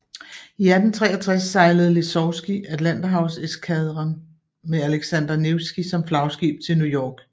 I 1863 sejlede Lesovskij Atlanterhavseskadren med Aleksandr Nevskij som flagskib til New York